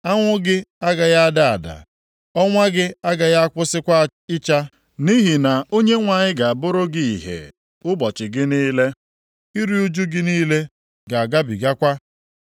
Anwụ gị agaghị ada ada, ọnwa gị agaghị akwụsịkwa ịcha; nʼihi na Onyenwe anyị ga-abụrụ gị ìhè ụbọchị gị niile, iru ụjụ gị niile ga-agabigakwa.